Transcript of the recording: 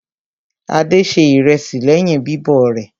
Adé se ìrẹsì lẹ́yìn bíbọ̀ rẹ̀.